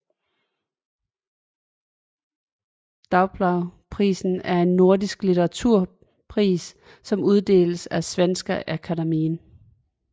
Doblougprisen er en nordisk litteraturpris som uddeles af Svenska Akademien